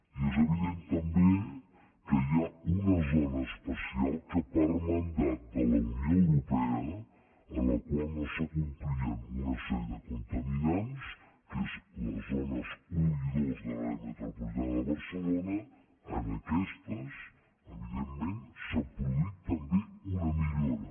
i és evident també que hi ha una zona especial que per mandat de la unió europea en la qual no s’acomplien una sèrie de contaminants que són les zones un i dos de l’àrea metropolitana de barcelona en aquestes evidentment s’ha produït també una millora